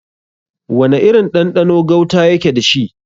Wana irin ɗanɗano gauta yake dashi?